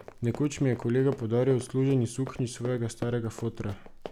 Nekoč mi je kolega podaril odsluženi suknjič svojega starega fotra.